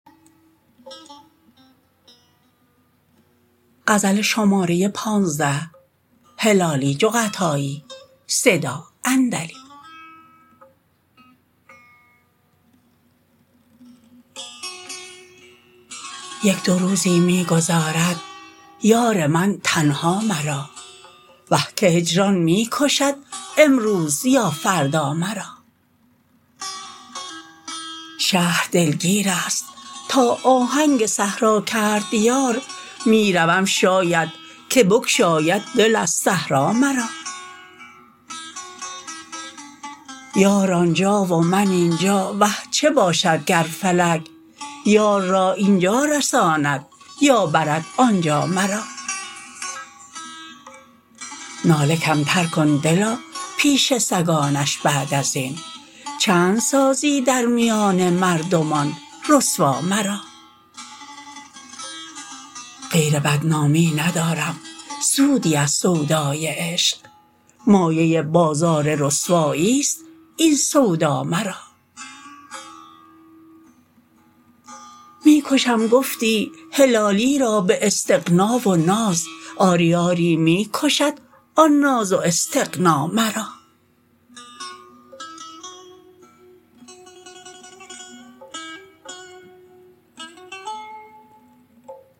یک دو روزی می گذارد یار من تنها مرا وه که هجران می کشد امروز یا فردا مرا شهر دلگیرست تا آهنک صحرا کرد یار میروم شاید که بگشاید دل از صحرا مرا یار آنجا و من این جا وه چه باشد گر فلک یار را این جا رساند یا برد آنجا مرا ناله کمتر کن دلا پیش سگانش بعد ازین چند سازی در میان مردمان رسوا مرا غیر بدنامی ندارم سودی از سودای عشق مایه بازار رسواییست این سودا مرا می کشم گفتی هلالی را باستغنا و ناز آری آری می کشد آن ناز و استغنا مرا